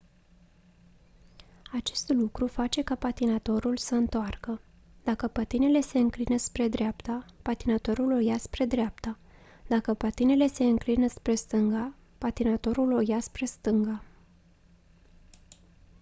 acest lucru face ca patinatorul să întoarcă dacă patinele se înclină spre dreapta patinatorul o ia spre dreapta dacă patinele se înclină spre stânga patinatorul o ia spre stânga